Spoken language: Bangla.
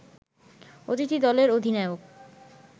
অতিথি দলের অধিনায়ক